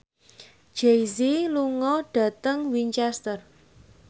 Jay Z lunga dhateng Winchester